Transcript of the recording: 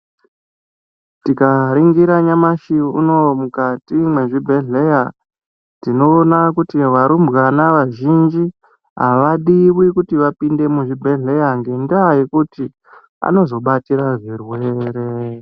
Tikaningira nyamashi unowu mukati mezvibhedhleya tinoone kuti varumbwana vazhinji avadiwi kuti vapinde muzvibhedhleya ngendaa yekuti anozobatira zvirwere .